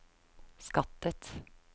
skattet